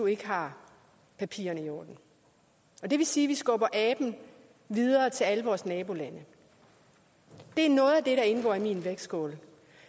ikke har papirerne i orden det vil sige at vi skubber aben videre til alle vores nabolande det er noget af det der indgår i min vægtskål